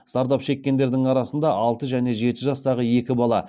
зардап шеккендердің арасында алты және жеті жастағы екі бала